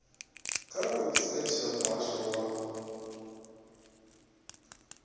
kha website ya muhasho wa